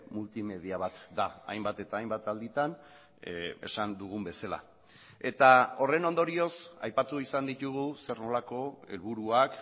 multimedia bat da hainbat eta hainbat alditan esan dugun bezala eta horren ondorioz aipatu izan ditugu zer nolako helburuak